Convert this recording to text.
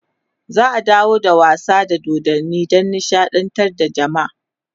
za'a dawo da wasa da dodanni Dan nishaɗantar da jamaa